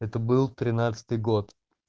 это был тринадцатый год